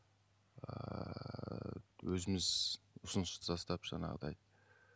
ыыы өзіміз ұсыныс тастап жаңағыдай